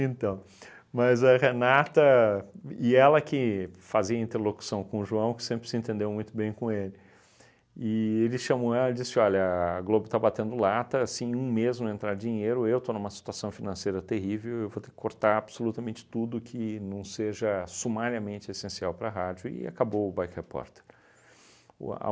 Então, mas a Renata, e ela que fazia interlocução com o João, que sempre se entendeu muito bem com ele, e ele chamou ela e disse, olha, a Globo está batendo lata, se em um mês não entrar dinheiro, eu estou numa situação financeira terrível, eu vou ter que cortar absolutamente tudo que não seja sumariamente essencial para a rádio, e acabou o Bike Repórter. O a